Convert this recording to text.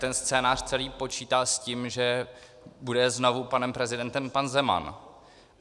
Ten scénář celý počítá s tím, že bude znovu panem prezidentem pan Zeman.